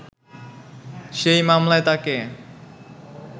সেই মামলায় তাঁকে